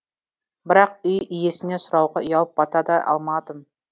бірақ үй иесінен сұрауға ұялып бата да алмадым